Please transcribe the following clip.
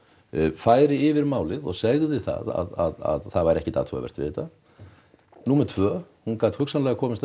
færi yfir málið og segði það að það væri ekkert athugavert við þetta númer tvö hún gat hugsanlega komist að